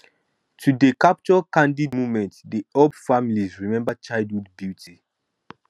to dey capture candid moments dey help families remember childhood beauty